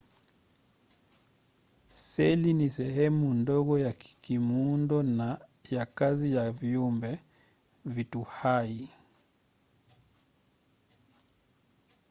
seli ni sehemu ndogo ya kimuundo na ya kazi ya viumbe vitu hai